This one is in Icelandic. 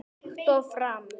Líkt og fram